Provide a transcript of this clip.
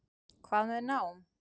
Hvað með nám?